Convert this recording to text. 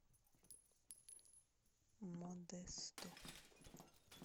модесто